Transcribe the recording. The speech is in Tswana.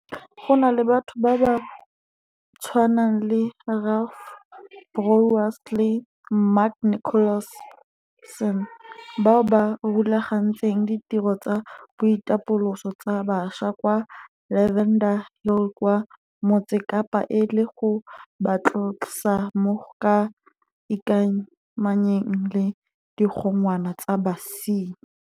Go na le batho ba tshwana le Ralph Bouwers le Mark Nicholson, bao ba rulagantseng ditiro tsa boitapoloso tsa bašwa kwa Lavender Hill kwa Motse Kapa e le go ba tlosa mo go ka ikamanyeng le digongwana tsa basenyi.